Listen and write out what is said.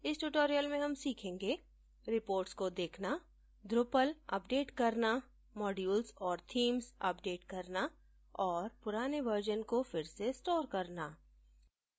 इस tutorial में हम सीखेंगेreports को देखना drupal अपडेट करना modules और themes अपडेट करना और पुराने वर्जन को फिर से स्टोर करना